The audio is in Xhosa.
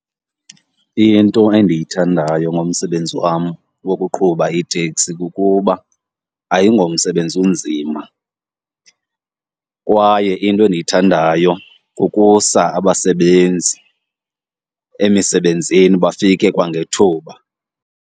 Into endiyithandayo ngomsebenzi wam wokuqhuba iiteksi kukuba ayingomsebenzi unzima kwaye into endiyithandayo kukusa abasebenzi emisebenzini bafike kwangethuba.